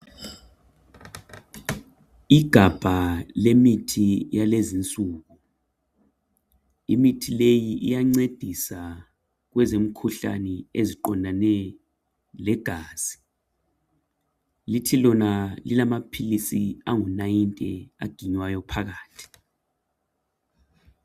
Igabha lemithi yalezinsuku. Imithi leyi iyancedisa kwezemikhuhlane eziqondane legazi. Lithi lona lilamaphilisi angu90 aginywayo phakathi.